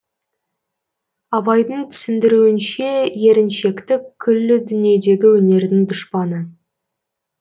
абайдың түсіндіруінше еріншектік күллі дүниедегі өнердің дұшпаны